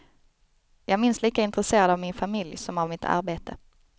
Jag är minst lika intresserad av min familj som av mitt arbete.